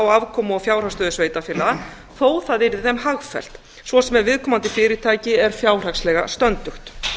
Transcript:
á afkomu og fjárhagsstöðu sveitarfélaga þó að það yrði þeim hagfellt svo sem ef viðkomandi fyrirtæki er fjárhagslega stöndugt